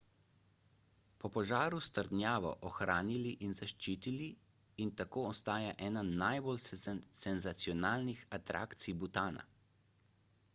po požaru so trdnjavo ohranili in zaščitili in tako ostaja ena najbolj senzacionalnih atrakcij butana